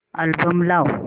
album लाव